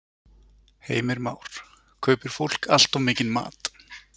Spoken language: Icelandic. Heimir Már: Kaupir fólk allt of mikinn mat?